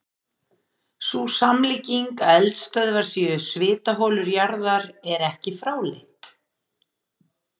Sú samlíking að eldstöðvar séu svitaholur jarðar er ekki fráleit.